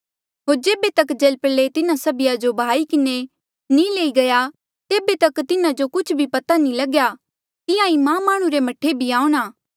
होर जेबे तक जलप्रलय तिन्हा सभिया जो बहाई किन्हें नी लई गया तेबे तक तिन्हा जो कुछ भी पत्ता नी लग्या तिहां ईं मां माह्णुं रे मह्ठे भी आऊंणा